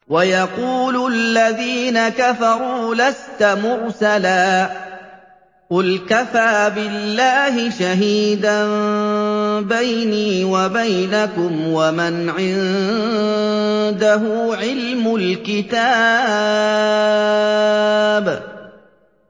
وَيَقُولُ الَّذِينَ كَفَرُوا لَسْتَ مُرْسَلًا ۚ قُلْ كَفَىٰ بِاللَّهِ شَهِيدًا بَيْنِي وَبَيْنَكُمْ وَمَنْ عِندَهُ عِلْمُ الْكِتَابِ